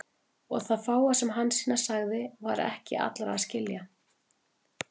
Og það fáa sem Hansína sagði var ekki allra að skilja.